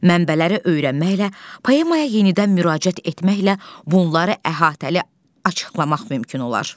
Mənbələri öyrənməklə, poemaya yenidən müraciət etməklə bunları əhatəli açıqlamaq mümkün olar.